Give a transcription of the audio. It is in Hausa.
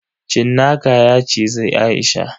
Cinnaka ya cizi Aisha.